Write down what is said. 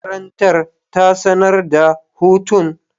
Makarantar ta sanar da hutun.